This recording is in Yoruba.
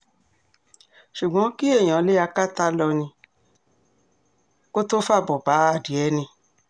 ṣùgbọ́n kí èèyàn lé akátá lọ kó tóó fàbọ̀ bá adìẹ ni